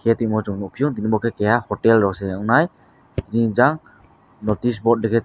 khe tuimo chung nukphio bo khe keha hotelrok se ungnai jang notice board rikeh.